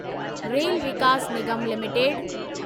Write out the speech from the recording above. rail Vikas Nigam limited